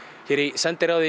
sendiherrann í